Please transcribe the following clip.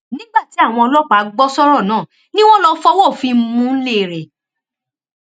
nígbà tí àwọn ọlọpàá gbọ sọrọ náà ni wọn lọọ fọwọ òfin mú un nílé rẹ